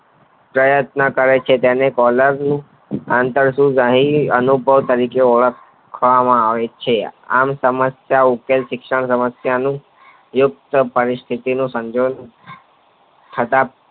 પ્રયત્ન કરે છે તેને પહેલાનું આંતરશુંભ વાહિની અનુભવ તરીકે ઓળખવામાં આવે છે આમ સમસ્યા ઉકેલ શિક્ષણ નું યુદ્ધ પરિસ્થિતિ તો સન્દ્રભ થતા